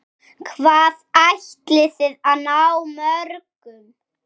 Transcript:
Hvað ætliði að ná mörgum?